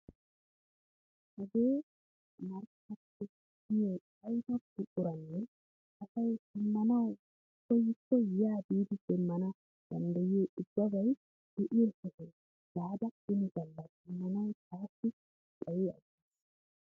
Hagee markkaato giyoo ayiba buquraanne asay shammanawu koyikko yaa biidi demmana danddayiyoo ubbabay de'iyoo sohuwaa gaada ini galla shammanawu taassi xayi aggis!